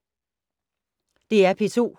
DR P2